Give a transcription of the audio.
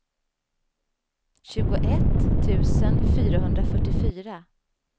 tjugoett tusen fyrahundrafyrtiofyra